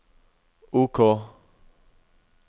OK